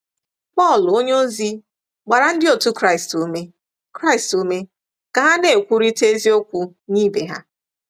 Pọl onyeozi gbara ndị otu Kraịst ume Kraịst ume ka ha ‘ na-ekwurịta eziokwu nye ibe ha.